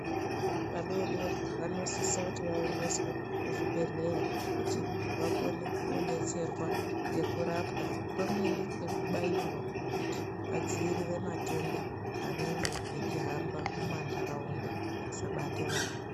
Vana vadodori vanosisa vaendeswe kuzvibhedhlera kuti vakone kudetserwa nekurapwa pamweni nekubairwa kuti vadzivirire matenda anenge achihamba mumandaraunda asabata vana.